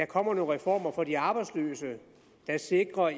kommer nogle reformer for de arbejdsløse der sikrer